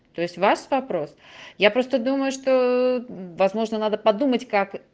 то есть у вас вопрос я просто думаю что возможно надо подумать как